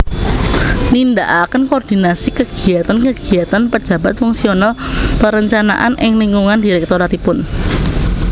Nindakaken koordinasi kegiyatan kegiyatan pejabat fungsional perencanaan ing lingkungan direktoratipun